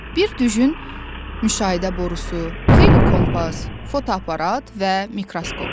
Bir düzün müşahidə borusu, xeyli kompas, fotoaparat və mikroskop.